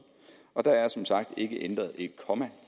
og der er som sagt ikke ændret et komma